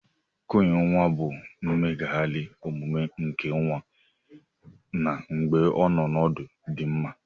Cọọyin nwa bu mmeghari omume nke nwa na mgbe ọnọ ọnọdu di mma.